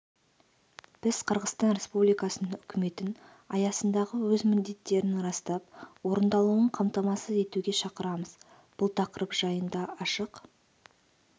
біз қырғызстан республикасының үкіметін аясындағы өз міндеттерін растап орындалуын қамтамасыз етуге шақырамыз бұл тақырып жайында ашық